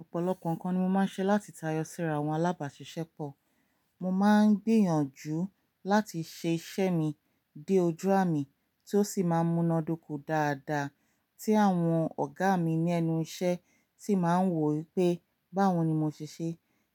Òpòlopò nkán ni mo má n ṣe láti táyọ síra àwon alábàsísẹ́pọ̀. Mo ma n gbìyànjú láti ṣe isẹ́ mi dé ojú àmì tí ó sì má n múna dúkò dáadáa tí àwon ọ̀gá mi ní ẹnu isẹ́ tí màá n wo wípé báwóni mo sisé.